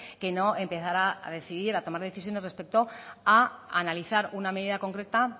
que no empezar a decidir o a tomar decisiones respecto a analizar una medida concreta